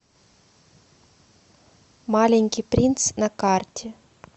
маленький принц на карте